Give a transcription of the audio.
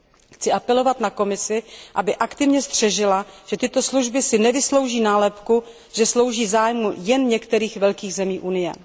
Chci apelovat na Komisi, aby aktivně střežila, že tato služba si nevyslouží nálepku, že slouží zájmu jen některých velkých zemí Unie.